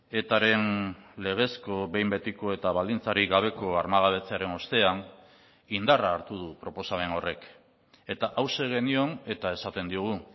etaren legezko behin betiko eta baldintzarik gabeko armagabetzearen ostean indarra hartu du proposamen horrek eta hauxe genion eta esaten diogu